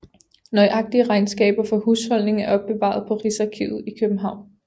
Nøjagtige regnskaber for husholdningen er opbevaret på Rigsarkivet i København